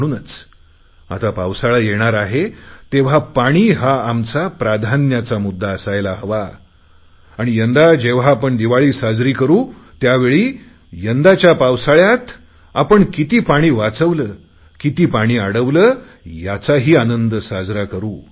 म्हणूनच आता पावसाळा येणार आहे तेव्हा पाणी हा आमचा प्राधान्याचा मुद्दा असायला हवा आणि यंदा जेव्हा आपण दिवाळी साजरी करु त्यावेळी यंदाच्या पावसाळयात आपण किती पाणी वाचवले किती पाणी अडवले याचाही आनंद साजरा करु